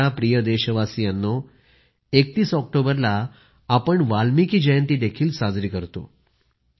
माझ्या प्रिय देशवासीयांनो 31 ऑक्टोबरला आपण वाल्मिकी जयंती देखील साजरी करतो